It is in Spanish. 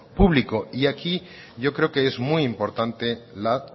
público y aquí yo creo que es muy importante la